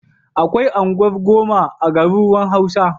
Akwai unguwar zoma a garuruwan Hausa.